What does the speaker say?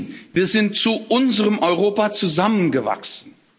Nein, wir sind zu unserem Europa zusammengewachsen!